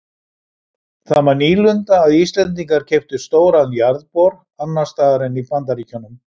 Það var nýlunda að Íslendingar keyptu stóran jarðbor annars staðar en í Bandaríkjunum.